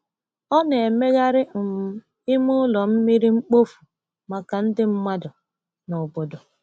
Ọ na-emegharị um ime ụlọ mmiri mkpofu maka ndị mmadụ n’obodo.